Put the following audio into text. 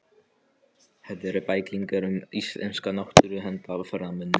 Þetta eru bæklingar um íslenska náttúru handa ferðamönnum.